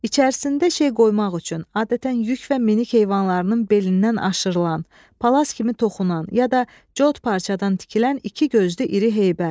İçərisində şey qoymaq üçün adətən yük və minik heyvanlarının belindən aşırılan, palas kimi toxunan ya da cod parçadan tikilən iki gözlü iri heybə.